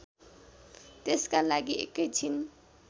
त्यसका लागि एकैछिन